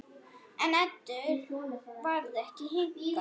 En Eddu varð ekki hnikað.